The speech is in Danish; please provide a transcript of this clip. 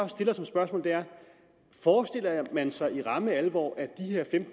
stiller som spørgsmål er forestiller man sig i ramme alvor at de her en